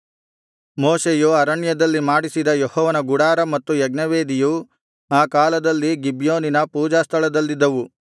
ಮೋಶೆಯು ಅರಣ್ಯದಲ್ಲಿ ಮಾಡಿಸಿದ ಯೆಹೋವನ ಗುಡಾರ ಮತ್ತು ಯಜ್ಞವೇದಿಯು ಆ ಕಾಲದಲ್ಲಿ ಗಿಬ್ಯೋನಿನ ಪೂಜಾಸ್ಥಳದಲ್ಲಿದ್ದವು